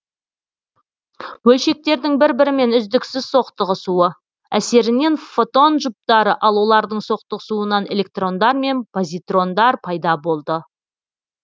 бөлшектердің бір бірімен үздіксіз соқтығысуы әсерінен фотон жұптары ал олардың соқтығысуынан электрондар мен позитрондар пайда болды